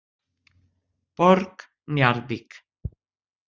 Borg Njarðvík